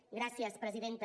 gràcies presidenta